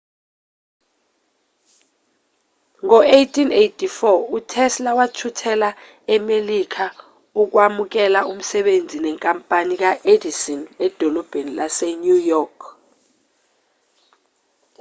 ngo-1884 utesla wathuthela emelika ukwamukela umsebenzi nenkampani ka-edison edolobheni lase-new york